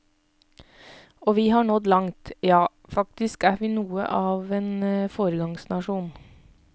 Og vi har nådd langt, ja, faktisk er vi noe av en foregangsnasjon.